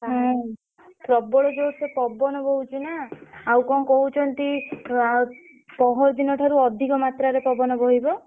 ହଁ ପ୍ରବଳ ଯୋର୍ ସେ ପବନ ବହୁଛି ନା। ଆଉ କଣ କହୁଛନ୍ତି ଆଉ ପହରଦିନ ଠାରୁ ଅଧିକ ମାତ୍ରାରେ ପବନ ବହିବ।